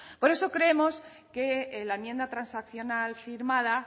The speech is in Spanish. por eso creemos que la enmienda transaccional firmada